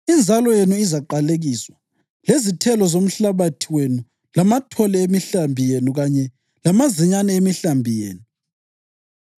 Inzalo yenu izaqalekiswa, lezithelo zomhlabathi wenu, lamathole emihlambi yenu kanye lamazinyane emihlambi yenu.